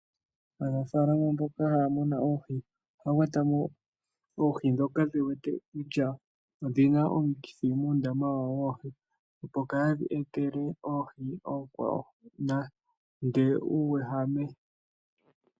Aanafalama mboka haya muna oohi ohaya kwata mo oohi ndhoka ye wete kutya odhi na omukithi muundama wawo woohi, opo kaadhi etele oohi oonkwawo nande uuwehame.